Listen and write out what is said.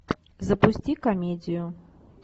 запусти комедию